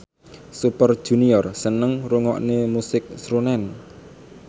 Super Junior seneng ngrungokne musik srunen